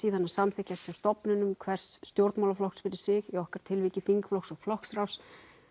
samþykkja hjá stofnunum hvers stjórnmálaflokks fyrir sig í okkar tilviki þingflokks flokksráðs